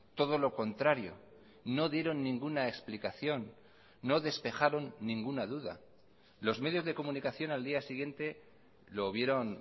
todo lo contrario no dieron ninguna explicación no despejaron ninguna duda los medios de comunicación al día siguiente lo vieron